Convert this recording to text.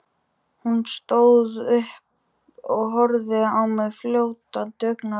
Hún stóð upp og horfði á mig fljótandi augnaráði.